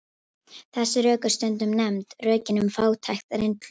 Þessi rök eru stundum nefnd rökin um fátækt reynslunnar.